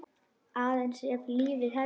Aðeins ef lífið hefði.?